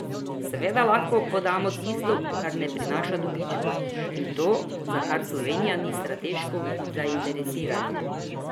Seveda lahko prodamo tisto, kar ne prinaša dobičkov, in to, za kar Slovenija ni strateško zainteresirana.